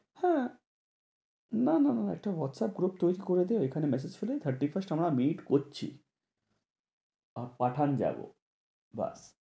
হ্যাঁ না না না একটা হোয়াটস্যাপ group তৈরী করে দে ঐখানে massage ছেড়ে thirty-first আমরা meet করছি। পাঠান যাবো ব্যাস